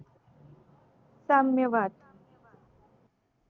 साम्य वाद